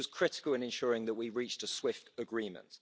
This was critical in ensuring that we reached a swift agreement.